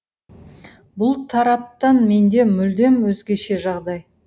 бұл тараптан менде мүлдем өзгеше жағдай